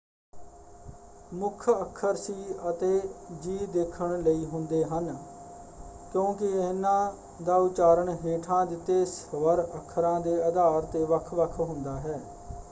ਮੁੱਖ ਅੱਖਰ ਸੀ ਅਤੇ ਜੀ ਦੇਖਣ ਲਈ ਹੁੰਦੇ ਹਨ ਕਿਉਂਕਿ ਇਹਨਾਂ ਦਾ ਉਚਾਰਨ ਹੇਠਾਂ ਦਿੱਤੇ ਸਵਰ-ਅੱਖਰਾਂ ਦੇ ਆਧਾਰ 'ਤੇ ਵੱਖ-ਵੱਖ ਹੁੰਦਾ ਹੈ।